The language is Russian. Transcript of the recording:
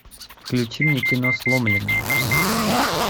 включи мне кино сломленные